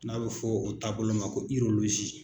N'a bɛ fɔ o taabolo ma ko